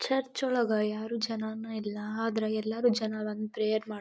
church ಒಳಗೆ ಯಾರು ಜನನೇ ಇಲ್ಲ ಆದ್ರೆ ಎಲ್ಲ ಜನ ಬಂದು ಪ್ರೇಯರ್ ಮಾಡ್ತ --